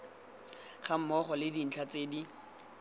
gammogo le dintlha tse di